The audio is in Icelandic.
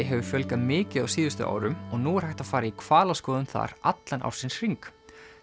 hefur fjölgað mikið á síðustu árum og nú er hægt að fara í hvalaskoðun þar allan ársins hring